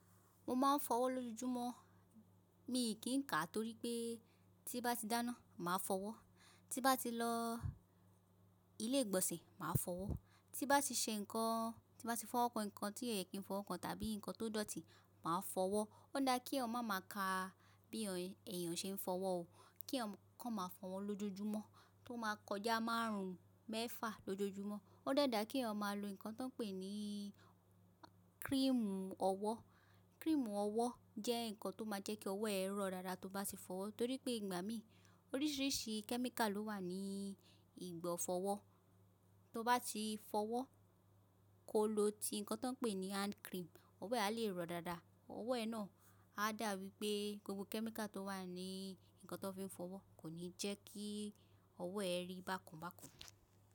Mo máa ń fọwọ́ lójoojúmọ́. Mi kì í kà torí pé tí bá ti dáná, mà á fọwọ́. Ti bá ti lọ ilé ìgbọ̀nsẹ̀, mà á fọwọ́. Ti bá ti ṣe nǹkan, ti bá ti fọ́wọ́ kan nǹkan tí òyè kì í fọ́wọ́ kan tàbí nǹkan tó dọ̀tí, mà á fọwọ́. Ó dá kí èèyàn má máa kà bí èèyàn ṣe ń fọwọ́ o. Kí èèyàn kan máa fọwọ́ lójoojúmọ́, tó máa kọjá márùn-ún mẹ́fà lójoojúmọ́. Ó dẹ̀ dáa kí èèyàn máa lo nǹkan tó n pè ní kríímú ọwọ́. Kríímú ọwọ́ jẹ́ nǹkan tó máa jẹ́ kí ọwọ́ ẹ rọ̀ dáadáa tí ó bá ti fọwọ́. Torí pé ìgbà mìí, oríṣiríṣi kẹ́míkà ló wà ní ìgbọ̀ fọwọ́. Tí ó bá ti fọwọ́, ko lò ti nǹkan tó pè ní hand cream, ọwọ́ ẹ á lè rọ̀ dáadáa. Ọwọ́ ẹ náà á dà bí i pé gbogbo kẹ́míkà tó wà ní nǹkan tó ń fi fọwọ́ kò ní jẹ́ kí ọwọ́ ẹ rí bákanbákan.